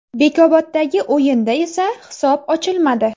Bekoboddagi o‘yinda esa hisob ochilmadi.